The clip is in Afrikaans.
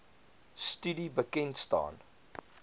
studie bekend staan